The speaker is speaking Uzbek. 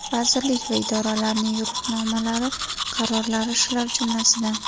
Vazirlik va idoralarning yo‘riqnomalari, qarorlari shular jumlasidan.